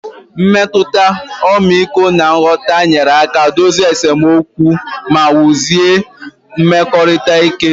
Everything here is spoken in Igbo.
Mmetụta ọmịiko na nghọta nyere aka dozie esemokwu ma wusie mmekọrịta ike